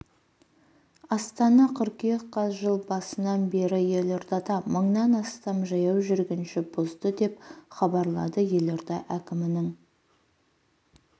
астана қыркүйек қаз жыл басынан бері елордада мыңнан астам жаяу жүргінші бұзды деп хабарлады елорда әкімінің